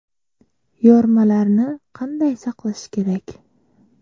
Yormalarni qanday saqlash kerak?